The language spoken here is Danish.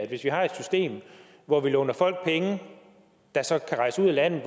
hvis vi har et system hvor vi låner folk der så kan rejse ud af landet